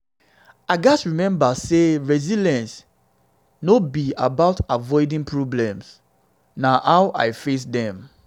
i gats remember say resilience say resilience no be about avoiding problems; na how i face dem.